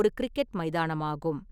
ஒரு கிரிக்கெட் மைதானமாகும்.